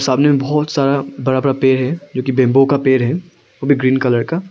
सामने बहुत सारा बड़ा बड़ा पेड़ है जो कि बैंबू का पेड़ है वो भी ग्रीन कलर का।